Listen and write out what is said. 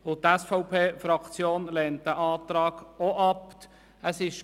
Die SVP-Fraktion lehnt diesen Antrag ebenfalls ab.